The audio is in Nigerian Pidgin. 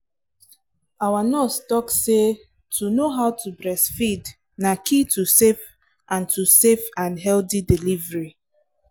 our nurse talk say to know how to breastfeed na key to safe and to safe and healthy delivery